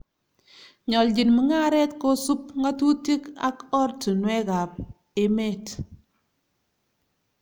Nyoljin mungaret kosub ng'atutik ak ortinuekab emet